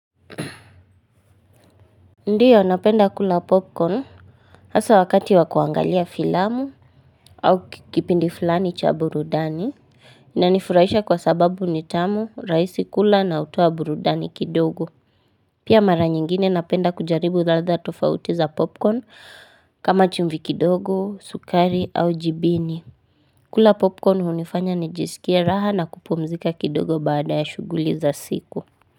Ndiyo napenda kula popcorn hasa wakati wakuangalia filamu au kikipindi fulani cha burudani inanifurahisha kwa sababu nitamu raisi kula na utoa burudani kidogo pia mara nyingine napenda kujaribu ladha tofauti za popcorn kama chumvi kidogo sukari au jibini kula popcorn hunifanya nijisikie raha na kupumzika kidogo baada ya shuguli za siku.